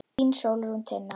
Þín Sólrún Tinna.